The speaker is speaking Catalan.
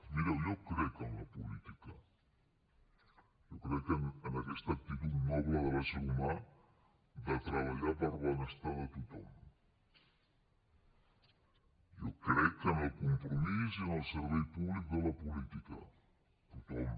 mireu jo crec en la política jo crec en aquesta actitud noble de l’ésser humà de treballar per al benestar de tothom jo crec en el compromís i en el servei públic de la política tothom